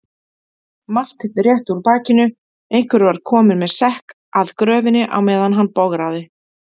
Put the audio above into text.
Marteinn rétti úr bakinu, einhver var kominn með sekk að gröfinni á meðan hann bograði.